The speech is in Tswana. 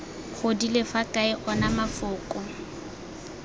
godile fa kae ona mafoko